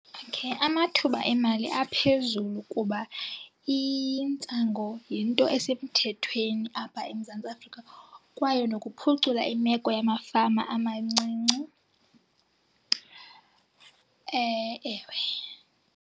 Okay. Amathuba emali aphezulu kuba intsango yinto esemthethweni apha eMzantsi Afrika kwaye nokuphucula imeko yamafama amancinci, ewe.